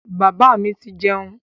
Bàbá mi ti jẹun.